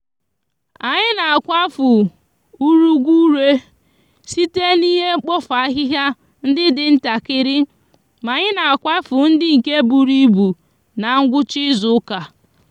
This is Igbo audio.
anyi n'akwafu ureguure site n'ihe mkpofu ahihia ndi di ntakiri ma anyi n'akwufu ndi nke buru ibu n'gwucha izuuka